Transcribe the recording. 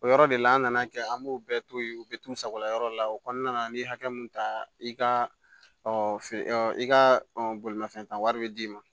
O yɔrɔ de la an nana kɛ an b'o bɛɛ to yen u bɛ t'u sagola yɔrɔ la o kɔnɔna na n'i ye hakɛ mun ta i ka i ka bolimafɛn wari bɛ d'i ma